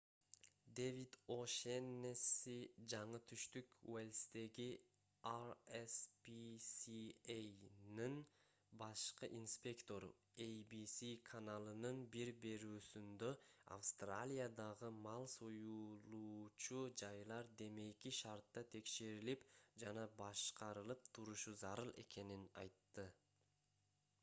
дэвид о’шеннесси жаңы түштүк уэльстеги rspca'нын башкы инспектору abc каналынын бир берүүсүндө австралиядагы мал союлуучу жайлар демейки шартта текшерилип жана башкарылып турушу зарыл экенин айтты